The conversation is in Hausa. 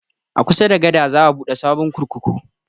A kusa da gada za a buɗe sabon kurkuku